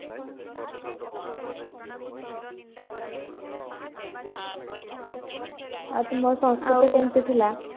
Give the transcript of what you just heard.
ଆଉ ତୁମର ସଂସ୍କୃତ କେମିତି ଥିଲା